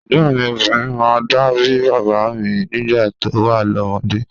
Ẹ̀gbọ́̀n mi obinrin máa ń dà bí bàbá mi nígbà tó wà lọ́mọdé.